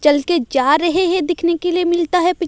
चल के जा रहे हैं देखने के लिए मिलता है--